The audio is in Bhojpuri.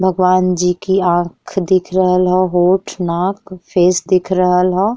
भगवान जी की आँख दिख रहल ह। होंठ नाक फेस दिख रहल ह।